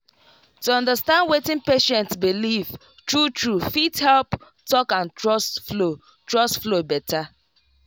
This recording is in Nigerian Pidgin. to understand wetin patient believe true true fit help talk and trust flow trust flow better.